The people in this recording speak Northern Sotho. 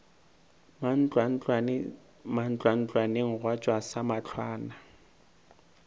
mantlwantlwane mantlwantlwaneng gwa tšwa samahlwana